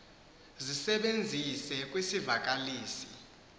zisebenzise kwisi vakalisi